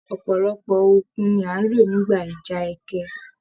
Ọpọlọpọ òkun ní a n ló nígbà ìjà ẹkẹ.